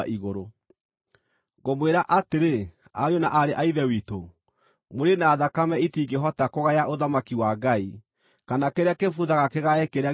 Ngũmwĩra atĩrĩ, ariũ na aarĩ a Ithe witũ, mwĩrĩ na thakame itingĩhota kũgaya ũthamaki wa Ngai, kana kĩrĩa kĩbuthaga kĩgae kĩrĩa gĩtabuthaga.